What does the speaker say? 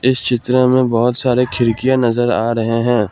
इस चित्र में बहोत सारे खिड़कियां नजर आ रहे हैं।